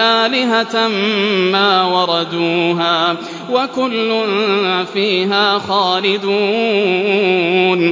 آلِهَةً مَّا وَرَدُوهَا ۖ وَكُلٌّ فِيهَا خَالِدُونَ